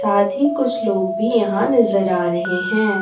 साथ ही कुछ लोग भी यहां नज़र आ रहे हैं।